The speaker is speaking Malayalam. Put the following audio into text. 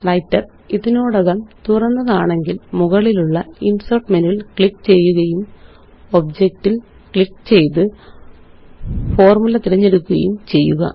വ്രൈട്ടർ ഇതിനോടകം തുറന്നതാണെങ്കില് മുകളിലുള്ള ഇന്സേര്ട്ട് മെനുവില് ക്ലിക്ക് ചെയ്യുകയും ഒബ്ജക്റ്റില് ക്ലിക്ക് ചെയ്ത് ഫോര്മുല തിരഞ്ഞെടുക്കുകയും ചെയ്യുക